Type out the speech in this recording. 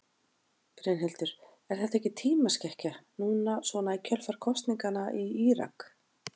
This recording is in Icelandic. Brynhildur: Er þetta ekki tímaskekkja núna svona í kjölfar kosninganna í Írak?